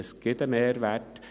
Es gibt einen Mehrwert.